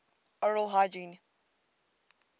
oral hygiene